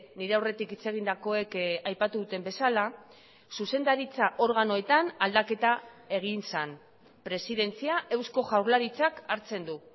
nire aurretik hitz egindakoek aipatu duten bezala zuzendaritza organoetan aldaketa egin zen presidentzia eusko jaurlaritzak hartzen du